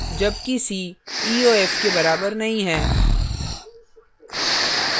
जबकि c eof के बराबर नहीं है